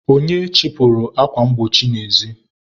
onye chịpụrụ akwa mgbochi n'ezi?